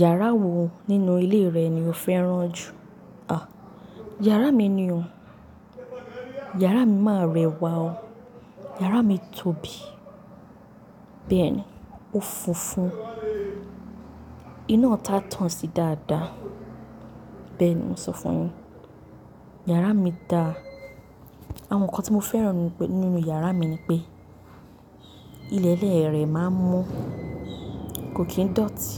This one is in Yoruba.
Yàrá wo nínú ilé rẹ ni o fẹ́ràn jù? À, yàrá mi ni o. Yàrá mi máa rẹwà o. Yàrá mi tóbi, bẹ́ẹ̀ ni ó funfun, iná itá tán sí dáadáa. Bẹ́ẹ̀ ni mo sọ fún yin. Yàrá mi da. Àwọn nǹkan tí mo fẹ́ràn nínú yàrá mi ni pé ilẹ̀ẹ́lẹ̀ rẹ̀ máa ń mo, kò kín dọ̀tí.